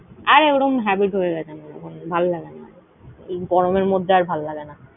আরে ওরম habit হয়ে গেছে আমার । ভালোলাগেনা আর। এই গরমের মধ্যে আর ভালো লাগেনা।